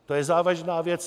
To je závažná věc!